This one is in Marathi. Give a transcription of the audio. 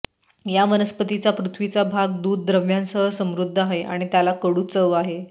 या वनस्पतीचा पृथ्वीचा भाग दुध द्रव्यांसह समृद्ध आहे आणि त्याला कडू चव आहे